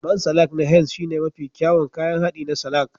Man salak na Henz shine mafi kyawun kayan haɗi na salak